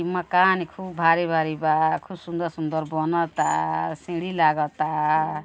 ई मकान खूब भारी भारी बा। खूब सुन्दर सुन्दर बनता। सीढ़ी लागता।